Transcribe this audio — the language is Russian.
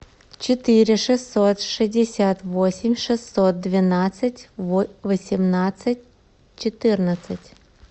четыре шестьсот шестьдесят восемь шестьсот двенадцать восемнадцать четырнадцать